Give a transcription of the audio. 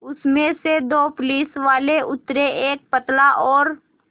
उसमें से दो पुलिसवाले उतरे एक पतला और